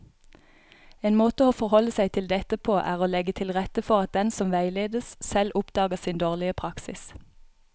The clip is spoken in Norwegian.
En måte å forholde seg til dette på er å legge til rette for at den som veiledes, selv oppdager sin dårlige praksis.